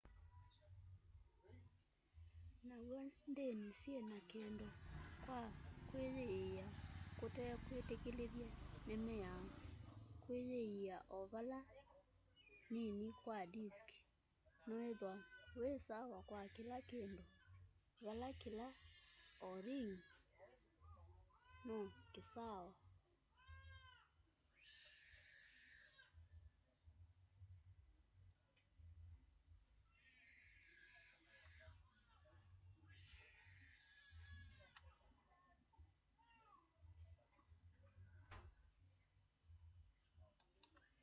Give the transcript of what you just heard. na w'o ndini syiina kindu kwa kuyiia kutekwitikilithye ni miao kuyiia o va nini kwa disk nuithwa wi sawa kwa kila kindu vala kila oringyinoo kisawa